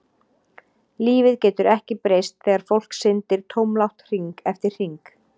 Lífið getur ekki breyst þegar fólk syndir tómlátt hring eftir hring.